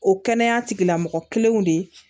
O kɛnɛya tigilamɔgɔ kelenw de